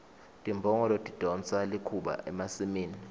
timbongolo tidonsa likhuba emasimini